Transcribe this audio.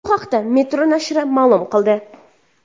Bu haqda Metro nashri ma’lum qildi .